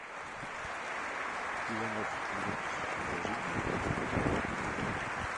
иванов друг положить денег на телефон